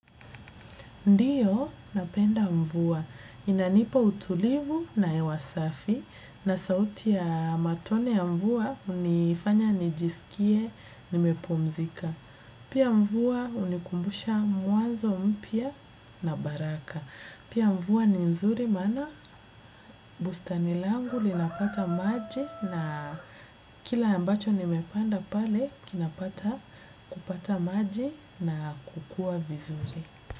Ndiyo, napenda mvua. Inanipa utulivu na ewa safi na sauti ya matone ya mvua unifanya nijisikie, nimepumzika. Pia mvua unikumbusha mwanzo mpya na baraka. Pia mvua ni nzuri maana bustani langu linapata maji na kila ambacho nimepanda pale kinapata kupata maji na kukua vizuri.